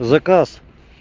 заказ